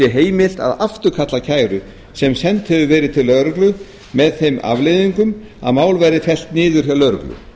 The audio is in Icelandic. heimilt að afturkalla kæru sem send hefur verið lögreglu með þeim afleiðingum að mál verði fellt niður hjá lögreglu